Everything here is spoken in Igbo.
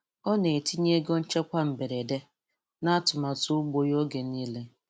Ọ na-etinye ego nchekwa mberede, n’atụmatụ ugbo ya oge niile.